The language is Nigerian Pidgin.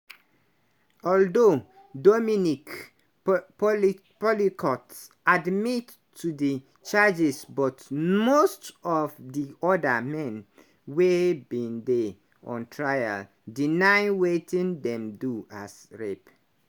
although dominique po pelicot admit to di charges but most of di oda men wey bin dey on trial deny wetin dem do as rape.